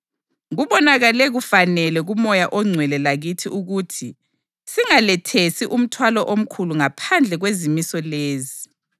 Kubonakale kufanele kuMoya oNgcwele lakithi ukuthi singalethesi omthwalo omkhulu ngaphandle kwezimiso lezi: